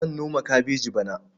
Zan noma kabeji bana.